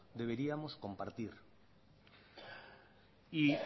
deberíamos compartir y